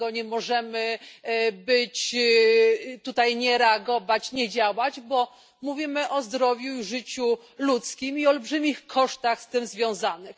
Dlatego nie możemy nie reagować, nie działać, bo mówimy o zdrowiu i życiu ludzkim, i olbrzymich kosztach z tym związanych.